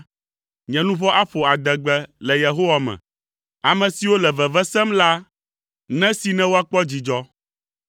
Nye luʋɔ aƒo adegbe le Yehowa me, ame siwo le veve sem la nesee ne woakpɔ dzidzɔ.